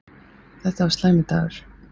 Þetta var slæmur dagur.